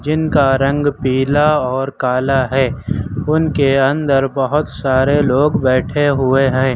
जिनका रंग पीला और काला है उनके अंदर बहुत सारे लोग बैठे हुए है।